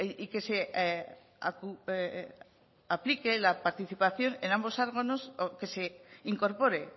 y que se aplique la participación en ambos órganos o que se incorpore